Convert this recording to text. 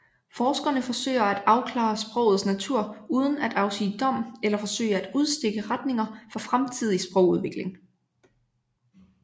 Forskerne forsøger at afklare sprogets natur uden at afsige dom eller forsøge at udstikke retninger for fremtidig sprogudvikling